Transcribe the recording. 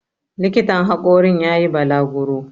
likitan hakorin ya yi balaguro